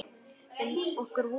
Er nokkur von?